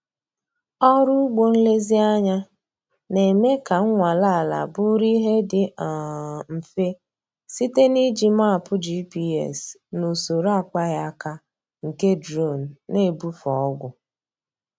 Ọrụ ugbo nlezianya na-eme ka nnwale ala bụrụ ihe dị um mfe site na iji mapu GPS na usoro akpaghị aka nke duronu na-ebufe ọgwụ.